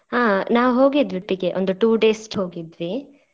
ಹಾ ನಾವು ಹೋಗಿದ್ವಿ ಒಟ್ಟಿಗೆ ಒಂದ್ two days ಹೋಗಿದ್ವಿ.